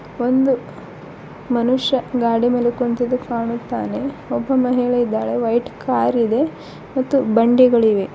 ಒಂದು ಮನುಷ್ಯ ಗಾಡಿ ಮೇಲೆ ಕುಂತಿದ್ದು ಕಾಣುತ್ತಾನೆ ಒಬ್ಬ ಮಹಿಳೆ ಇದ್ದಾಳೆ ವೈಟ್ ಕಾರ್ ಇದೆ ಮತ್ತು ಬಂಡಿಗಳಿವೆ.